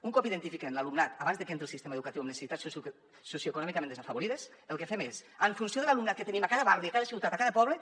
un cop identifiquem l’alumnat abans de que entri al sistema educatiu amb necessitats socioeconòmicament desafavorides el que fem és en funció de l’alumnat que tenim a cada barri a cada ciutat a cada poble